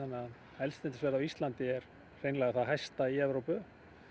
eldsneytisverð á Íslandi er hreinlega það hæsta í Evrópu